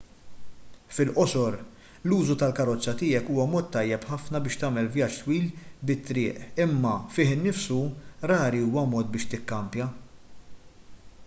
fil-qosor l-użu tal-karozza tiegħek huwa mod tajjeb ħafna biex tagħmel vjaġġ twil bit-triq imma fih innifsu rari huwa mod biex tikkampja